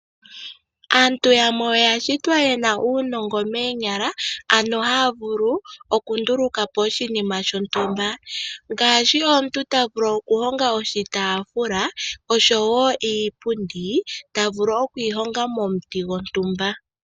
Aantu yamwe oya shitwa ye na uunongo moonyala, ano haa vulu okunduluka po oshinima shontumba ngaashi omuntu ta vulu okuhonga oshitaafula, osho wo iipundi, ta vulu oku yi honga momuti gontumba.